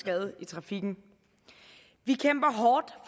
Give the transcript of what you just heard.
skade i trafikken vi kæmper hårdt